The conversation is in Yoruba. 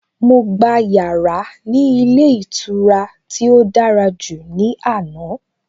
Mo gba yàrá ní ilé ìtura tí ó dára jù ní àná.